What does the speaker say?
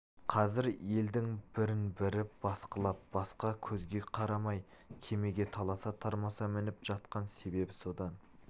қазір елдің бірін-бірі басқылап басқа көзге қарамай кемеге таласа-тармаса мініп жатқан себебі содан